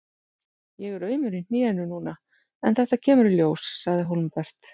Ég er aumur í hnénu núna en þetta kemur í ljós, sagði Hólmbert.